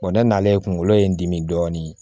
ne nana ye kunkolo ye n dimi dɔɔnin